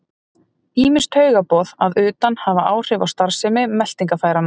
Ýmis taugaboð að utan hafa áhrif á starfsemi meltingarfæranna.